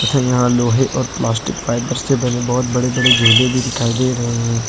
लोहे और plastic fibre बहोत बड़े बड़े झूले भी दिखाई दे रहे हैं।